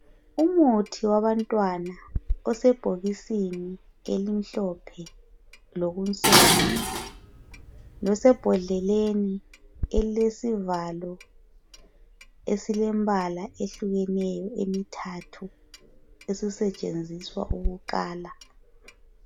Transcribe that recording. Umuthi wabantwana osebhokisini elimhlophe lokunsomi losebhodleleni elilesivalo esilembala ehlukeneyo emithathu esisetshenziswa ukukala.